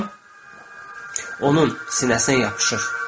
onun sinəsinə yapışır.